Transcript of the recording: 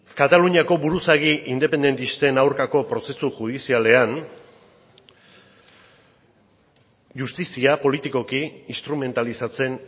kataluniako buruzagi independentisten aurkako prozesu judizialean justizia politikoki instrumentalizatzen